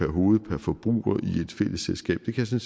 hoved per forbruger i et fælles selskab det kan